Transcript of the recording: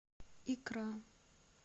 икра